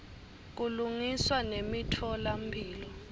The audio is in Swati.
kulungiswa nemitfola mphilo